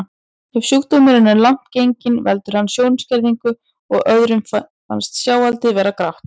Ef sjúkdómurinn er langt genginn veldur hann sjónskerðingu og öðrum finnst sjáaldrið vera grátt.